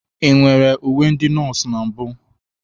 Ị nwere uwe ndị nọọsụ na mbụ?